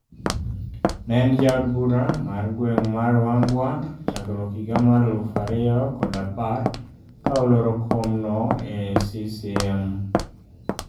Ne en ja od bura mar gweng' mar Ruangwa chakruok higa mar aluf ariyo kod apar ka oloro kom no e CCM